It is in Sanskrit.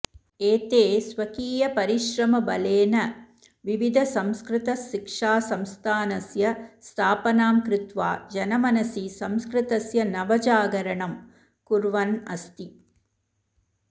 एते स्वकीयपरिश्रमबलेन विविधसंस्कृतशिक्षासंस्थानस्य स्थापनां कृत्वा जनमनसि संस्कृतस्य नवजागरणं कुर्वन्नस्ति